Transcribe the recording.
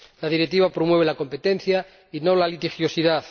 La Directiva promueve la competencia y no la litigiosidad.